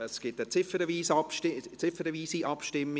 Es gibt eine ziffernweise Abstimmung: